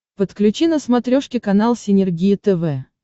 подключи на смотрешке канал синергия тв